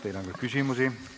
Teile on küsimusi.